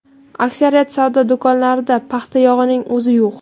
Aksariyat savdo do‘konlarida paxta yog‘ining o‘zi yo‘q.